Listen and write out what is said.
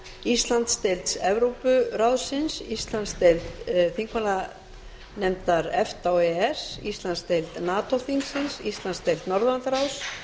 íslandsdeild evrópuráðsins íslandsdeild þingmannanefndar efta og e e s íslandsdeild nato þingsins íslandsdeild norðurlandaráðs